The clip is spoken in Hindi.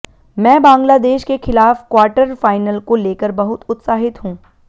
मैं बांग्लादेश के खिलाफ क्वार्टर फाइनल को लेकर बहुत उत्साहित हूं